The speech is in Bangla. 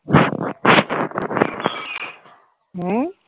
হম